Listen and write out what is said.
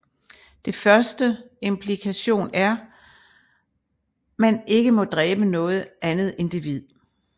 Det første implikation er man ikke må dræbe noget andet individ